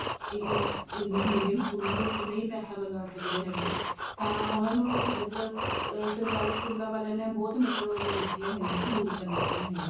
ਅਹ English medium ਸਕੂਲਾਂ ਦੇ ਵਿੱਚ ਨਹੀਂ ਪੈਸਾ ਲਗਾ ਸਕਦੇ ਹੈਗੇ ਤਾਂ ਉਹਨਾ ਨੂੰ ਮਤਲਬ ਅਹ ਸਰਕਾਰੀ ਸਕੂਲਾਂ ਵਾਲੀਆਂ ਨੇ ਬਹੁਤ ਮਤਲਬ ਉਹ ਦਿੱਤੀ ਹੋਇਆ ਏ ਸਹੂਲਤਾਂ ਦਿੱਤੀਆਂ ਹੋਈਆਂ